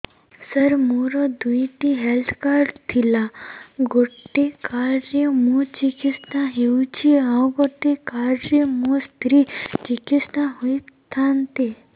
ସାର ମୋର ଦୁଇଟି health card ଥିଲା ଗୋଟେ କାର୍ଡ ରେ ମୁଁ ଚିକିତ୍ସା ହେଉଛି ଆଉ ଗୋଟେ କାର୍ଡ ରେ ମୋ ସ୍ତ୍ରୀ ଚିକିତ୍ସା ହୋଇଥାନ୍ତେ